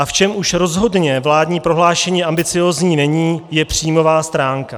A v čem už rozhodně vládní prohlášení ambiciózní není, je příjmová stránka.